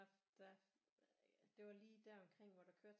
Der det var lige der omkring hvor der kørte